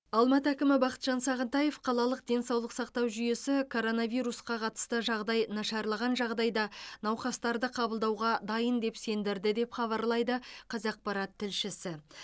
алматы әкімі бақытжан сағынтаев қалалық денсаулық сақтау жүйесі коронавирусқа қатысты жағдай нашарлаған жағдайда науқастарды қабылдауға дайын деп сендірді деп хабарлайды қазақпарат тілшісі